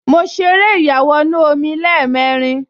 Mo ṣeré ìyàwọnù-omi lẹ́ẹ̀mẹrin